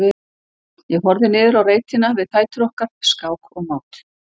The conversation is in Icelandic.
Ég horfði niður á reitina við fætur okkar, skák og mát.